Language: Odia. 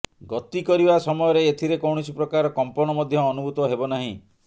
ଗତି କରିବା ସମୟରେ ଏଥିରେ କୌଣସି ପ୍ରକାର କମ୍ପନ ମଧ୍ୟ ଅନୁଭୂତ ହେବ ନାହିଁ